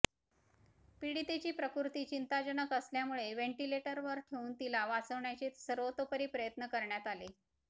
पीडितेची प्रकृती चिंताजनक असल्यामुळे व्हेंटिलेटरवर ठेवून तिला वाचवण्याचे सर्वतोपरी प्रयत्न करण्यात आले